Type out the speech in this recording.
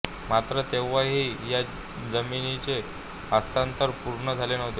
मात्र तेव्हाही या जमिनीचे हस्तांतरण पूर्ण झाले नव्हते